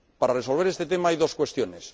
Para resolver este tema hay dos cuestiones.